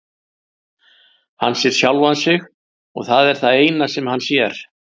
Hann sér sjálfan sig og það er það eina sem hann sér.